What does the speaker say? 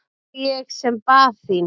Og ég sem bað þín!